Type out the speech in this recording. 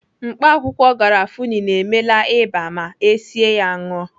Mkpaakwụkwọ garafuni na-emela ịba ma esie ya ṅụọ.